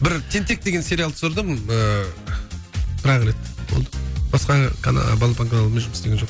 бір тентек деген сериал түсірдім ыыы бірақ рет болды басқа балапан каналымен жұмыс істеген жоқпын